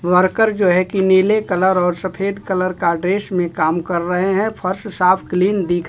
worker जो है की नीले कलर और सफेद कलर का ड्रेस मे काम कर रहे हैं फर्श साफ क्लीन दिख--